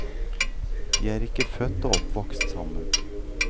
De er ikke født og oppvokst sammen.